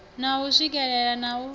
na u swikelea na u